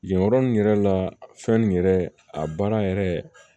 Yen yɔrɔ in yɛrɛ la fɛn yɛrɛ a baara yɛrɛ